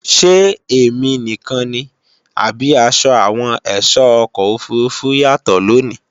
Ṣé èmi nìkan ni, àbí asọ àwọn èsó ọkọ̀ òfurufú yàtọ̀ lòní?